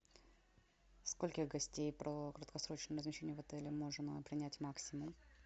скольких гостей при краткосрочном размещении в отеле можно принять максимум